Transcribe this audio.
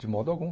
De modo algum.